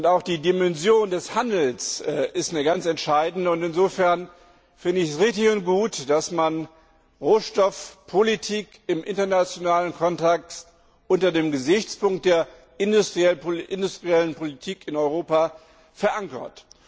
Auch die Dimension des Handels ist eine ganz entscheidende, und insofern finde ich es richtig und gut, dass man Rohstoffpolitik im internationalen Kontext unter dem Gesichtspunkt der industriellen Politik in Europa verankert.